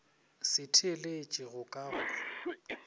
se theeletše go ka go